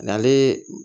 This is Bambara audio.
Nale